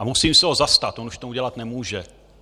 A musím se ho zastat, on už to udělat nemůže.